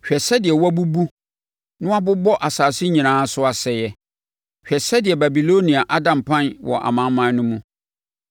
Hwɛ sɛdeɛ wɔabubu na wɔabobɔ asase nyinaa so asaeɛ! Hwɛ sɛdeɛ Babilonia ada mpan wɔ amanaman no mu!